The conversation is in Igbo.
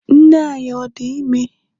nne anyi ọ di ime?